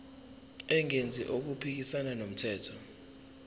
engenzi okuphikisana nomthetho